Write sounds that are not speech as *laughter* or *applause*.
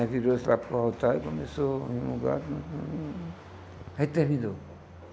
Aí virou-se lá para o altar e começou... *unintelligible* Aí terminou.